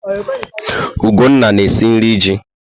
Ugonna na-esi nri ji.